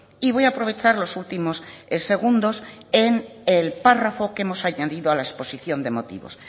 y voy a aprovechar los últimos segundos en el párrafo que hemos añadido a la exposición de motivos